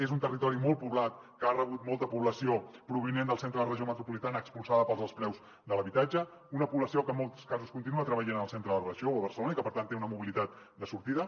és un territori molt poblat que ha rebut molta població provinent del centre de la regió metropolitana expulsada pels alts preus de l’habitatge una població que en molts casos continua treballant en el centre de la regió o a barcelona i que per tant té una mobilitat de sortida